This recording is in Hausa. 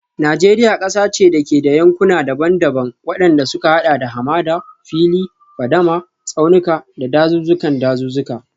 Najeriya kasa ce da ke da yankuna daban-daban, wadanda suka hada da hamada, fili, fadama, tsaunuka, da dazuzzukan dazuzzuka.